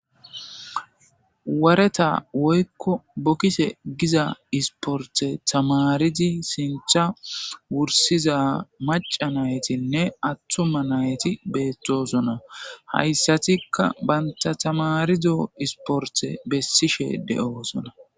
Wareta woykko bokkise giza isporte tamaridi sintha wursiza macanaytinne attuma nayti beettosona hayssatikka banta tamarido isporte bessishe de7oosona